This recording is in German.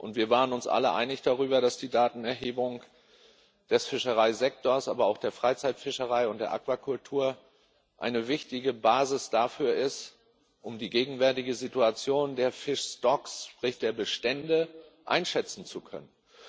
Und wir waren uns alle einig darüber, dass die Datenerhebung des Fischereisektors, aber auch der Freizeitfischerei und der Aquakultur eine wichtige Basis dafür ist, um die gegenwärtige Situation der sprich der Bestände, einschätzen zu können.